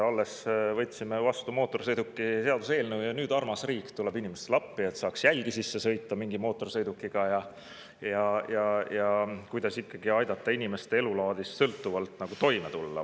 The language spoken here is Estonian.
Alles võtsime vastu mootorsõidukimaksu seaduse ja nüüd armas riik tuleb inimestele appi, et saaks jälgi sisse sõita mingi mootorsõidukiga ja aidata inimestel elulaadist sõltuvalt toime tulla.